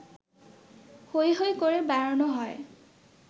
হৈ হৈ করে বেড়ানো হয়